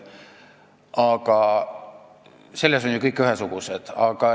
Selles mõttes on nad kõik ühesugused.